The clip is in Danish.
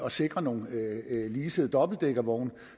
at sikre nogle leasede dobbeltdækkervogne